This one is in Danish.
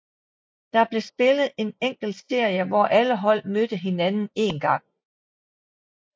Der blev spillet en enkeltserie hvor alle hold mødte hinanden en gang